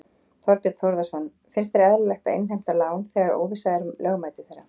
Þorbjörn Þórðarson: Finnst þér eðlilegt að innheimta lán þegar óvissa er um lögmæti þeirra?